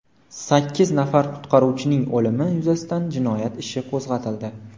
Sakkiz nafar qutqaruvchining o‘limi yuzasidan jinoyat ishi qo‘zg‘atildi.